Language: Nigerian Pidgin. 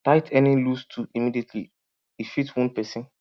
tight any loose tool immediately e fit wound person